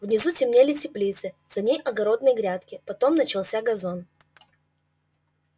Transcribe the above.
внизу темнели теплицы за ней огородные грядки потом начался газон